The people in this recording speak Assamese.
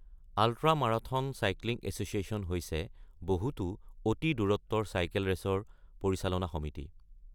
আল্ট্ৰা মাৰাথন চাইক্লিং এছ'চিয়েচন হৈছে বহুতো অতি-দূৰত্বৰ চাইকেল ৰেচৰ পৰিচালনা সমিতি।